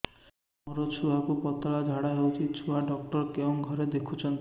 ମୋର ଛୁଆକୁ ପତଳା ଝାଡ଼ା ହେଉଛି ଛୁଆ ଡକ୍ଟର କେଉଁ ଘରେ ଦେଖୁଛନ୍ତି